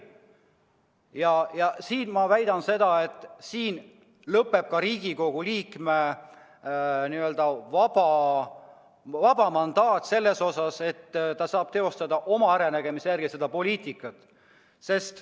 Ja ma väidan seda, et siin lõpeb ka Riigikogu liikme n-ö vaba mandaat selles mõttes, et ta saab teostada poliitikat oma äranägemise järgi.